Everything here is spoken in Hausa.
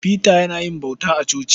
Peter yana yin bauta a coci.